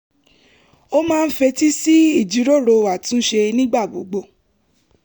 ó máa ń fetí sí ìjíròrò àtúnṣe nígbà gbogbo